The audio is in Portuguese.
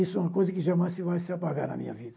Isso é uma coisa que jamais se vai se apagar na minha vida.